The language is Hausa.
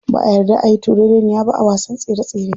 Ba'a yarda ayi turereniya ba a wasan tsere tsere.